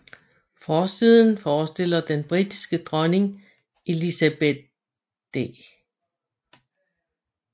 Forsiden forestiller den britiske dronning Elizabeth d